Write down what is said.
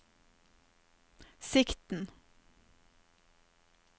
sikten